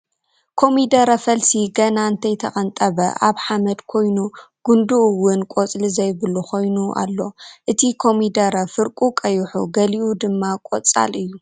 ኮሚደረ ፈልሲ ገና እንተይ ተቀንጠበ ኣብ ሓምድ ኮይኑ ጉንዱ እዉን ቆፅሊ ዘይብሉ ኾይኑ ኣሎ እቲ ኮሚደረ ፍርቁ ቀይሑ ገሊኡ ድማ ቆፃል እዩ ።